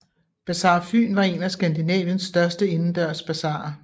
Bazar Fyn var en af Skandinaviens største indendørs basarer